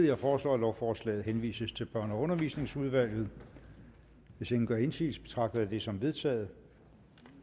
jeg foreslår at lovforslaget henvises til børne og undervisningsudvalget hvis ingen gør indsigelse betragter jeg det som vedtaget